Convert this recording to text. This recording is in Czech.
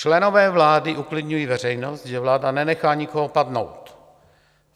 Členové vlády uklidňují veřejnost, že vláda nenechá nikoho padnout.